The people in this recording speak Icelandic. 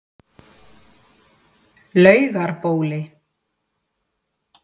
Laugarbóli